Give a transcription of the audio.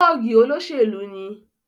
Tọ́ọ̀gì olóṣèlú ni.